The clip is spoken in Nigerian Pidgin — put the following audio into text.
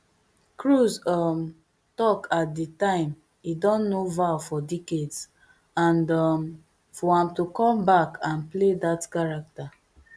cruise um tk at di time i don know val for decades and um for am to come back and play dat character